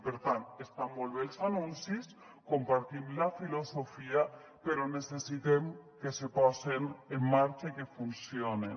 per tant estan molt bé els anuncis en compartim la filosofia però necessitem que se posen en marxa i que funcionen